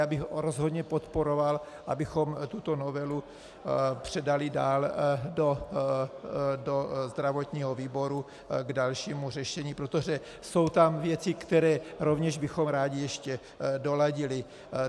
Já bych rozhodně podporoval, abychom tuto novelu předali dál do zdravotního výboru k dalšímu řešení, protože jsou tam věci, které rovněž bychom rádi ještě doladili.